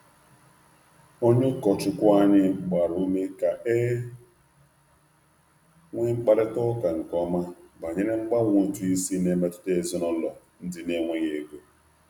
Onye ụkọchukwu anyị gbara ume ka e nwee mkparịta ụka nke ọma banyere mgbanwe ụtụ isi na-emetụta ezinụlọ ndị na-enweghị ego.